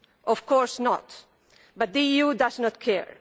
Of course not, but the EU does not care.